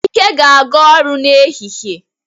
Ike ga-aga ọrụ n'ehihie.